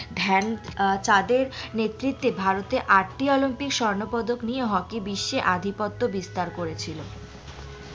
ধ্যান চাঁদের নেতৃতে ভারতে আটটি অলিম্পিক স্বর্ণ পদক নিয়ে হকি বিশ্বে অধিপত্ত বিস্তার করেছিল